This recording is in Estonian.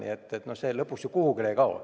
See ei kao ju kuhugi.